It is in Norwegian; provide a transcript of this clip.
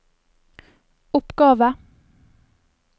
oppgave